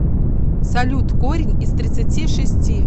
салют корень из тридцати шести